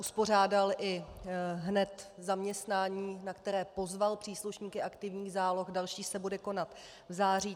Uspořádal hned i zaměstnání, na které pozval příslušníky aktivních záloh, další se bude konat v září.